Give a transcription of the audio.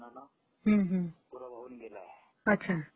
हं हं. अच्छा.